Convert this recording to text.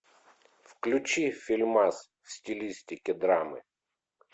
включи фильмас в стилистике драмы